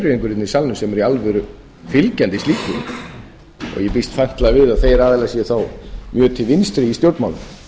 í salnum sem eru í alvöru fylgjandi slíku og ég býst fastlega við að þeir aðilar séu þá mjög til vinstri í stjórnmálum